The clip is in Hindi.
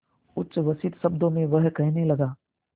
उच्छ्वसित शब्दों में वह कहने लगा